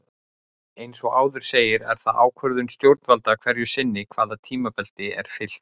Eins og áður segir er það ákvörðun stjórnvalda hverju sinni hvaða tímabelti er fylgt.